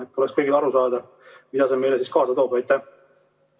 et kõik aru saaksid, mida see meile endaga kaasa toob.